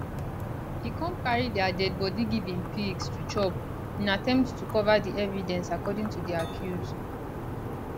e come carry dia dead body give im pigs to chop in attempt to cover di evidence according to di accuse